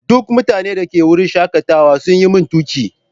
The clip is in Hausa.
Duk mutanen da ke wurin shakatawa sun yi min tuƙi.